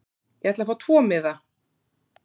Ég ætla að fá tvo miða.